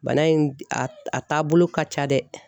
Bana in a taabolo ka ca dɛ